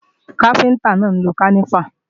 Káfíntá náà ń lo kálífà